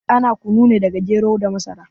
Ana kunu ne daga gero da masara